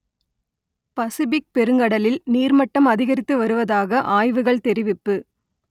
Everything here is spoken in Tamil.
பசிபிக் பெருங்கடலில் நீர்மட்டம் அதிகரித்து வருவதாக ஆய்வுகள் தெரிவிப்பு